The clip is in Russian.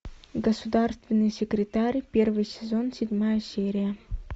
государственный секретарь первый сезон седьмая серия